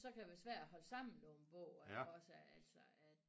Så kan det være svært at holde sammen på en bog iggås altså